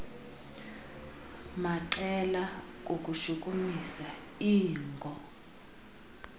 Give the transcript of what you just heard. maqela kukushukumisa iingo